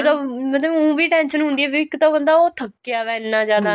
ਜਿਹੜਾ ਮਤਲਬ ਉ ਵੀ tension ਹੁੰਦੀ ਏ ਵੀ ਇੱਕ ਤਾਂ ਬੰਦਾ ਥਕਿਆ ਪਿਆ ਇੰਨਾ ਜਿਆਦਾ